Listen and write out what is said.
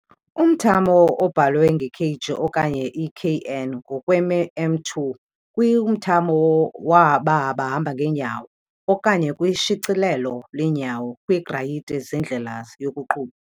Umthamo obhalwe nge-kg okanye i-kN ngokwem², kwimthamo waba bahamba ngeenyawo, okanye kwishicilelo lweenyawo kwiigrayiti zendlela yokuqhuba.